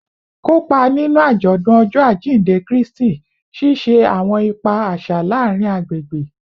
Kopa ninu ajọdun Ọjọ ajinde Kristi, ṣiṣe awọn ipa aṣa laarin agbegbe